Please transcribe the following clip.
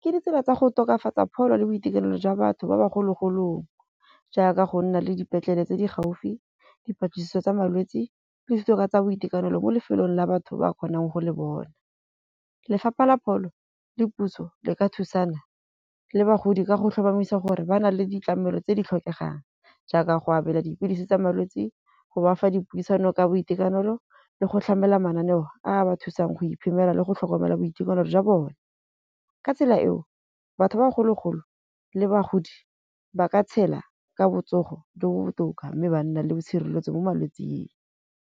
ke ditsela tsa go tokafatsa pholo le boitekanelo jwa batho ba ba kgologolong, jaaka go nna le dipetlele tse di gaufi, dipatlisiso tsa malwetsi le kitso ka tsa boitekanelo. Mo lefelong la batho ba kgonang go le bona. Lefapha la pholo le puso le ka thusana le bagodi ka go tlhomamisa gore ba na le ditlamelo tse di tlhokegang. Jaaka go abela dipilisi tsa malwetsi, go bafa dipuisano ka boitekanelo le go tlhamela mananeo ao a ba thusang go ikemela le go tlhokomela boitekanelo jwa bone. Ka tsela eo batho ba bogologolo le bagodi ba ka tshela ka botsogo jo bo botoka. Mme ba nna le tshireletso mo malwetsing.